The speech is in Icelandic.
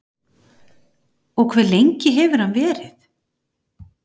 Og hve lengi hefur hann verið?